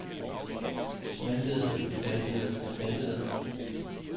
smeltede smeltede smeltede